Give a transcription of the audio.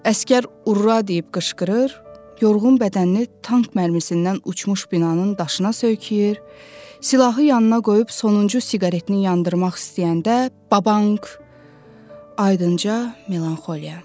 Əsgər urra deyib qışqırır, yorğun bədənini tank mərmisindən uçmuş binanın daşına söykəyir, silahı yanına qoyub sonuncu siqaretini yandırmaq istəyəndə babank, aydınca, melanxoliya.